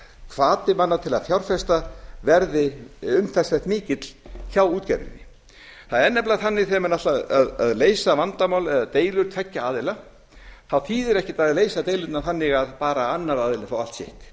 hvati manna til að fjárfesta verði umtalsvert mikill hjá útgerðinni það er nefnilega þannig að þegar menn ætla að leysa vandamál eða deilur tveggja aðila þá þýðir ekkert að leysa deilurnar þannig að bara annar aðilinn fái allt sitt